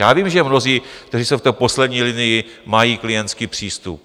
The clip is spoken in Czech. Já vím, že mnozí, kteří jsou v té poslední linii, mají klientský přístup.